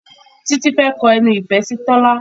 Titi fè kò ẹnu ifẹ sí Tola.